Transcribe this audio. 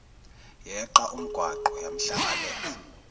yeqa umgwaqo yamhlangabeza